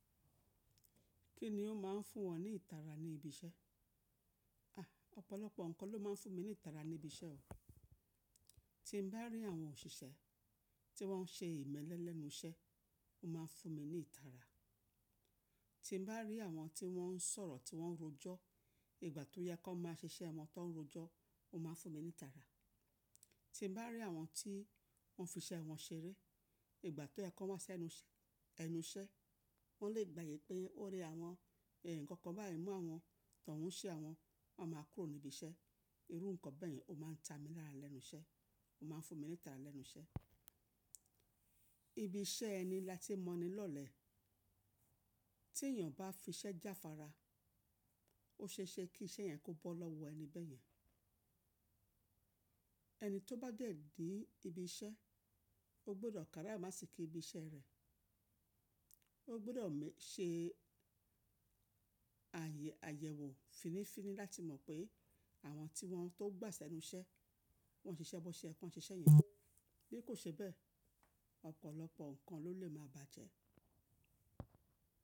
Kí ni ó máa ń fún wọn ní ìtara ní ibi iṣẹ́? À, ọ̀pọ̀lọpọ̀ nǹkan ló máa ń fún mi ní ìtara ní ibi iṣẹ́ o. Tí mo bá rí àwọn òṣìṣẹ́ tí wọ́n ń ṣe ìmẹ́lẹ́ lẹ́nu iṣẹ́, ó máa ń fún mi ní ìtara. Tí mo bá rí àwọn tí wọ́n ń sọ̀rọ̀ tí wọ́n ń rojọ́, ìgbà tó yẹ kó máa ṣe iṣẹ́ wọn tó ń rojọ́, ó máa ń fún mi ní ìtara. Tí mo bá rí àwọn tí wọ́n fi iṣẹ́ wọn ṣeré, ìgbà tó yẹ kó wà sẹ́nu iṣẹ́, wọ́n lè gbàyè pé ó rẹ àwọn, ẹ, nǹkan kan báyìí mú àwọn tó ń ṣe àwọn, wọ́n máa kúrò níbi iṣẹ́. Irú nǹkan bẹ́ẹ̀ ni ó máa ń ta mi lára lẹ́nu iṣẹ́, ó máa ń fún mi ní ìtara lẹ́nu iṣẹ́. Ibi iṣẹ́ ẹni láti mọni lọ́lẹ̀. Tí ènìyàn bá fi iṣẹ́ jáfara, ó ṣeéṣe kí iṣẹ́ yẹn kó bọ́ lọ́wọ́ ẹni bẹ́ẹ̀ yẹn. Ẹni tó bá dẹ̀dí ibi iṣẹ́, ó gbọdọ̀ káràìmọ́ asíkí ibi iṣẹ́ rẹ̀. Ó gbọdọ̀ mé-- ṣe ayẹ́ ayẹ̀wò finífíní láti mọ̀ pé àwọn tí wọ́n tó gbà ẹnu iṣẹ́, wọ́n ṣe iṣẹ́ bọ́ ṣe ẹ́, kọ́ ń ṣe iṣẹ́ yẹn. Bí kò ṣe bẹ́ẹ̀, ọ̀pọ̀lọpọ̀ nǹkan ló lè máa bàjẹ́.